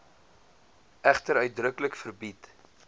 egter uitdruklik verbied